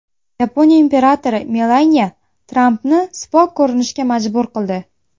Yaponiya imperatori Melaniya Trampni sipo ko‘rinishga majbur qildi.